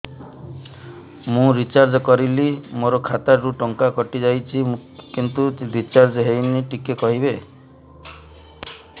ମୁ ରିଚାର୍ଜ କରିଲି ମୋର ଖାତା ରୁ ଟଙ୍କା କଟି ଯାଇଛି କିନ୍ତୁ ରିଚାର୍ଜ ହେଇନି ଟିକେ କହିବେ